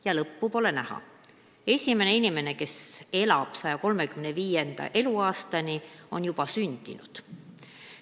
Ja lõppu pole näha: esimene inimene, kes elab 135. eluaastani, on juba sündinud.